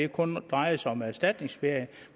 kun drejede sig om erstatningsferie